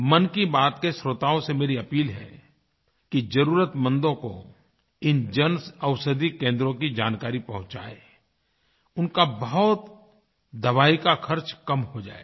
मन की बात के श्रोताओं से मेरी अपील है कि ज़रुरतमंदों को इन जनऔषधि केंद्रों की जानकारी पहुचाएँ उनका बहुत दवाइयों का ख़र्च कम हो जाएगा